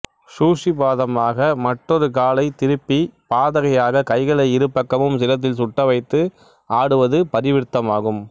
சூசிபாதமாக மற்றொரு காலைத் திருப்பி பாதகையாகக் கைகளை இருபக்கமும் சிரத்தில் சுட்டவைத்து ஆடுவது பரிவிர்த்தமாகும்